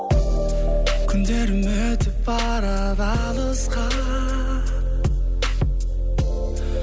күндерім өтіп барады алысқа